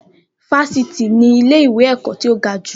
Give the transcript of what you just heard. Fáfitì ni ilé ìwé ẹ̀kọ́ tí ó ga jù.